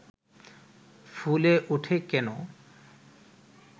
ফুলে উঠে কেন